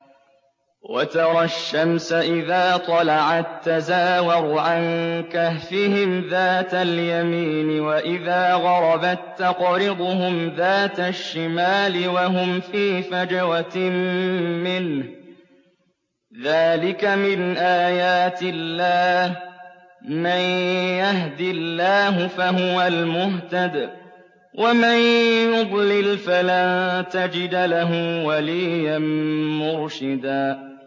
۞ وَتَرَى الشَّمْسَ إِذَا طَلَعَت تَّزَاوَرُ عَن كَهْفِهِمْ ذَاتَ الْيَمِينِ وَإِذَا غَرَبَت تَّقْرِضُهُمْ ذَاتَ الشِّمَالِ وَهُمْ فِي فَجْوَةٍ مِّنْهُ ۚ ذَٰلِكَ مِنْ آيَاتِ اللَّهِ ۗ مَن يَهْدِ اللَّهُ فَهُوَ الْمُهْتَدِ ۖ وَمَن يُضْلِلْ فَلَن تَجِدَ لَهُ وَلِيًّا مُّرْشِدًا